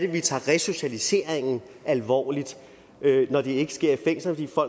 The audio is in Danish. vi tager resocialiseringen alvorligt når det ikke sker i fængslerne for